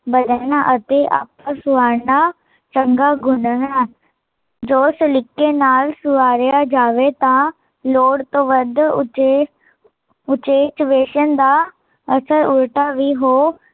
ਬਦਲਨਾ ਅਤੇ ਆਪਸ ਬਣਨਾ ਚੰਗਾ ਗੁਣ ਹੈ ਜੋ ਸਲੀਕੇ ਨਾਲ਼ ਸਵਾਰਿਆ ਜਾਵੇ ਤਾਂ, ਲੋੜ ਤੋਂ ਵੱਧ ਉਚੇ ਉਚੇਚ ਵੇਸ਼ਨ ਦਾ ਅਸਰ ਉਲਟਾ ਵੀ ਹੋ